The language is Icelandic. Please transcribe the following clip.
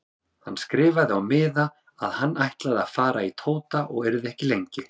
Hann skrifaði á miða að hann ætlaði að fara til Tóta og yrði ekki lengi.